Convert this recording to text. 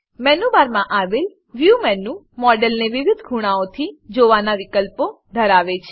menu બારમાં આવેલ view menu મોડેલને વિવિધ ખૂણાઓથી જોવાનાં વિકલ્પો ધરાવે છે